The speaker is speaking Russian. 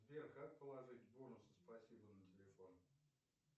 сбер как положить бонусы спасибо на телефон